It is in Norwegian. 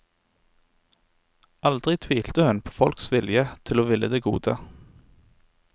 Aldri tvilte hun på folks vilje til å ville det gode.